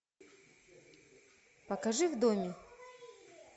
покажи в доме